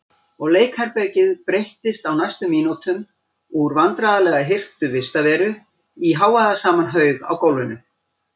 Og leikherbergið breyttist á næstu mínútum úr vandlega hirtri vistarveru í hávaðasaman haug á gólfinu.